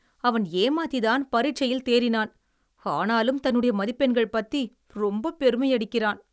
அவன் ஏமாத்தித்தான் பரிட்சையில் தேறினான். ஆனாலும், தன்னுடைய மதிப்பெண்கள் பத்தி ரொம்ப பெருமையடிக்கிறான்.